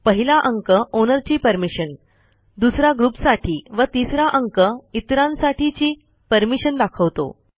पहिला अंक ओनरची परमिशन दुसरा ग्रुपसाठी व तिसरा अंक इतरांसाठीची परमिशन दाखवतो